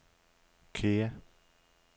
Kea